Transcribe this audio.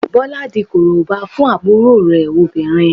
Bọlá di Korobá fún àbúrò rẹ̀ obìnrin